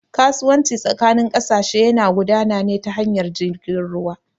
Kasuwanci tsakanin ƙasashe yana gudana ne ta hanyar jirgin ruwa